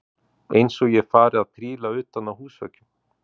Eins og ég fari að príla utan á húsveggjum!